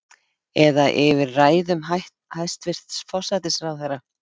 Eða yfir ræðum hæstvirts forsætisráðherra?